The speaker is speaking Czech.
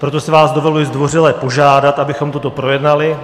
Proto si vás dovoluji zdvořile požádat, abychom toto projednali.